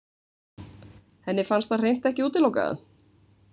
Henni fannst það hreint ekki útilokað.